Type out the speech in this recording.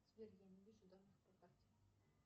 сбер я не вижу данных по карте